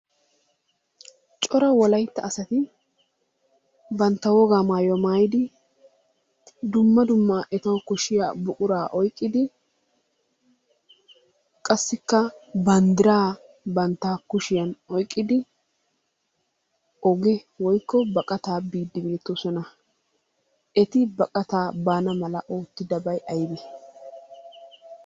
Cora wolaytta asati bantta wogaa maayuwa maayidi dumma dumma etawu koshshiya buquraa oyqqidi qassikka banddiraa bantta kushiyan oyqqidi oge woykko baqataa biiddi beettoosona. Eti baqataa baana mala oottidabayi aybee?